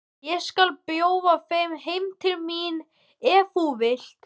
Ég skal bjóða þér heim til mín ef þú vilt!